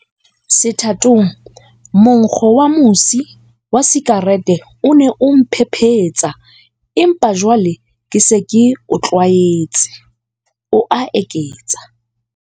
Sethatong, monkgo wa mosi wa sikarete o ne o mphephetsa, empa jwale ke se ke o tlwaetse, o a eketsa.